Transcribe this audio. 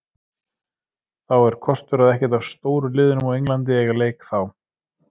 Þó er kostur að ekkert af stóru liðunum á Englandi eiga leik þá.